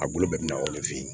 A bolo bɛɛ bina o de fe yen